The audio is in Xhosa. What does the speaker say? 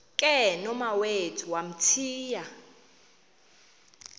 ke nomawethu wamthiya